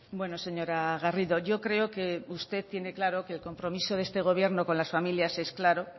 bueno señora garrido yo creo que usted tiene claro que el compromiso de este gobierno con las familias es claro